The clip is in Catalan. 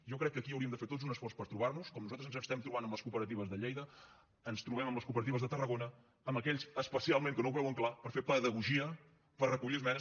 jo crec que aquí hauríem de fer tots un esforç per trobarnos com nosaltres ens estem trobant amb les cooperatives de lleida ens trobem amb les cooperatives de tarragona amb aquells especialment que no ho veuen clar per fer pedagogia per recollir esmenes